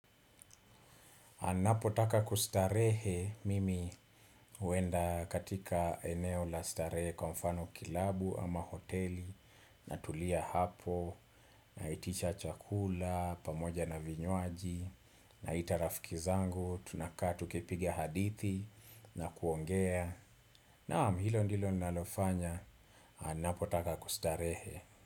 Anapo taka kustarehe mimi uenda katika eneo la starehe kwa mfano kilabu ama hoteli natulia hapo na itisha chakula, pamoja na vinywaji naita rafiki zangu, tunakaa tukipiga hadithi na kuongea. Naam, hilo ndilo nalofanya, napo taka kustarehe.